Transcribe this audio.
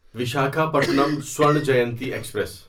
Visakhapatnam Swarna Jayanti express